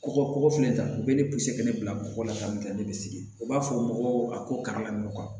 Kɔkɔ fɛnɛ ta u be ne ka ne bila bɔgɔ la min tɛ ne bɛ sigi u b'a fɔ mɔgɔw a ko kana laɲaw